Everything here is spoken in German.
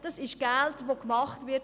Das ist Geld, das gemacht wird.